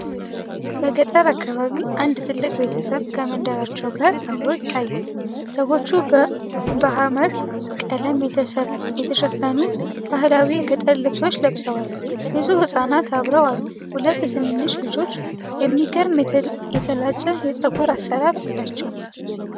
በገጠር አካባቢ አንድ ትልቅ ቤተሰብ ከመንደራቸው ጋር አብሮ ይታያል። ሰዎቹ በሐመር ቀለም የተሸፈኑ ባህላዊ የገጠር ልብሶች ለብሰዋል። ብዙ ሕፃናት አብረው አሉ፣ ሁለት ትንንሽ ልጆች የሚገርም የተላጨ የፀጉር አሠራር አላቸው።